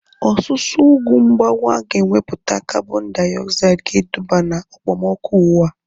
Ọsusu ugwu mgbawa ga ewepụta kabọn diogzaid ga eduba na okpomọkụ ụwa